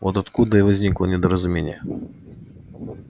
вот откуда и возникло недоразумение